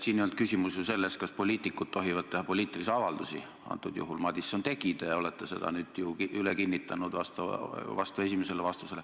Siin ei olnud küsimus ju selles, kas poliitikud tohivad teha poliitilisi avaldusi – antud juhul Madison tegi, te olete seda nüüd üle kinnitanud, vastates esimesele küsimusele.